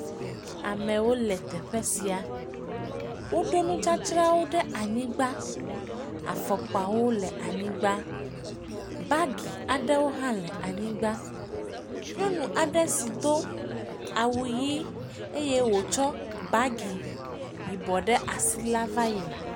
Amewo le teƒe sia, woɖo nudzadzrawo ɖe anyigba, afɔkpawo le anyigba, bagi aɖewo hã le anyigba. Nyɔnu aɖe si do awu ʋɛ̃ eye wò bagi ɖe asi la va yina.